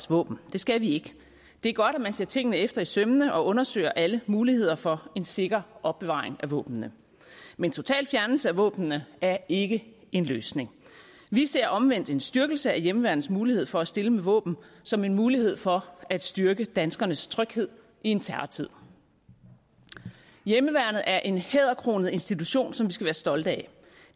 våben det skal vi ikke det er godt at man ser tingene efter i sømmene og undersøger alle muligheder for en sikker opbevaring af våbnene men total fjernelse af våbnene er ikke en løsning vi ser omvendt en styrkelse af hjemmeværnets mulighed for at stille med våben som en mulighed for at styrke danskernes tryghed i en terrortid hjemmeværnet er en hæderkronet institution som vi skal være stolte af